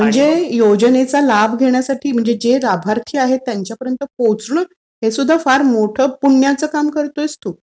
म्हणजे योजनेचा लाभ घेण्यासाठी, जे लाभार्थी आहेत त्यांच्यापर्यंत पोहोचणं हे सुद्धा फार मोठं पुण्याचं काम करतोयस तू.